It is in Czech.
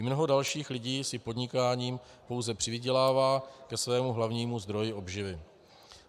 I mnoho dalších lidí si podnikáním pouze přivydělává ke svému hlavnímu zdroji obživy.